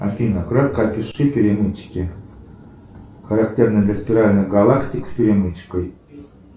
афина кратко опиши перемычки характерные для спиральных галактик с перемычкой